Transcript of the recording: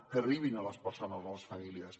que arribin a les persones i a les famílies